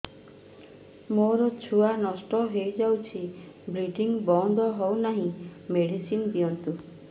ମୋର ଛୁଆ ନଷ୍ଟ ହୋଇଯାଇଛି ବ୍ଲିଡ଼ିଙ୍ଗ ବନ୍ଦ ହଉନାହିଁ ମେଡିସିନ ଦିଅନ୍ତୁ